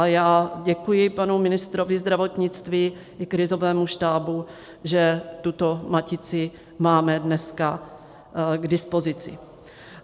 A já děkuji panu ministrovi zdravotnictví i krizovému štábu, že tuto matici máme dneska k dispozici.